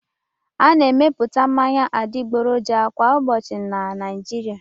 A na-emepụta mmanya adịgboroja kwa ụbọchị na Naịjirịa.